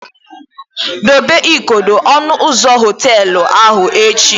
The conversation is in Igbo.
Dobe igodo ọnụ ụzọ họteelụ ahụ echi!